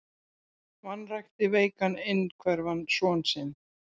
Vanrækti veikan einhverfan son sinn